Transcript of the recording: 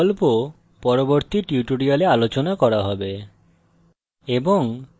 অন্যান্য বিকল্প পরবর্তী tutorials আলোচনা করা হবে